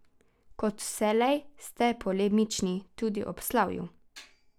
Kot vselej ste polemični tudi ob slavju.